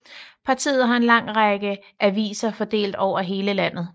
Partiet har en lang række aviser fordelt over hele landet